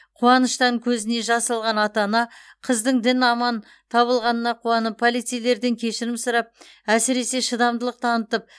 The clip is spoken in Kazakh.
қуаныштан көзіне жас алған ата ана қыздың дін аман табылғанына қуанып полицейлерден кешірім сұрап әсіресе шыдамдылық танытып